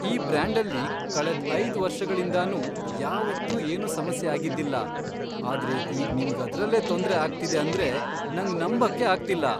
ಈ ಬ್ರ್ಯಾಂಡಲ್ಲಿ ಕಳೆದ್ ಐದ್ ವರ್ಷಗಳಿಂದನೂ ಯಾವತ್ತೂ ಏನೂ ಸಮಸ್ಯೆ ಆಗಿದ್ದಿಲ್ಲ. ಆದ್ರೆ ಈಗ್ ನಿಮ್ಗ್ ಅದ್ರಲ್ಲೇ ತೊಂದ್ರೆ ಆಗ್ತಿದೆ ಆಂದ್ರೆ ನಂಗ್ ನಂಬಕ್ಕೇ ಆಗ್ತಿಲ್ಲ.